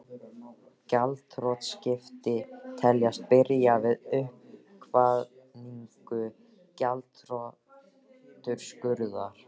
Gjaldþrotaskipti teljast byrja við uppkvaðningu gjaldþrotaúrskurðar.